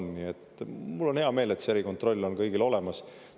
Mul on hea meel, et selle erikontrolli on kõigil olemas.